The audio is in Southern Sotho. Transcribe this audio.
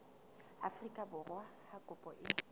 afrika borwa ha kopo e